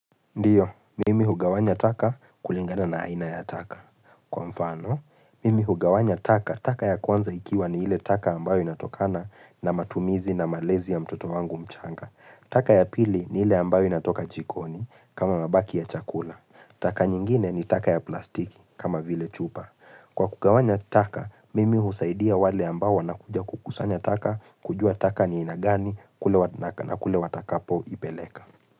Ndio, mimi hugawanya taka kulingana na aina ya taka. Kwa mfano, mimi hugawanya taka, taka ya kwanza ikiwa ni ile taka ambayo inatokana na matumizi na malezi ya mtoto wangu mchanga. Taka ya pili ni ile ambayo inatoka jikoni kama mabaki ya chakula. Taka nyingine ni taka ya plastiki kama vile chupa. Kwa kugawanya taka, mimi husaidia wale ambayo wanakuja kukusanya taka kujua taka ni ya aina gani na kule watakapoipeleka.